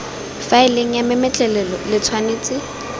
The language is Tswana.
faeleng ya mametlelelo lo tshwanetse